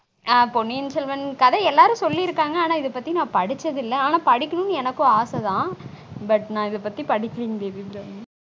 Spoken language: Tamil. ஆன் பொன்னியின் செல்வன் கதை எல்லாரும் சொல்லிருக்காங்க ஆனா இத பத்தி நான் படிச்சது இல்ல படிக்கனும்னு எனக்கும் ஆசை தான் but நான் இத பத்தி படிச்சது இல்ல